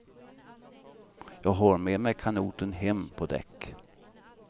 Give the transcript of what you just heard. Jag har med mig kanoten hem på däck.